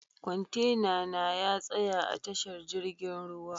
Kwantena na ya tsaya a tashar jirgin ruwa.